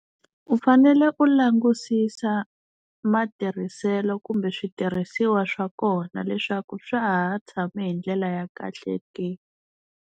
U fanele u langusisa matirhiselo kumbe switirhisiwa swa kona leswaku swa ha tshame hi ndlela ya kahle ke.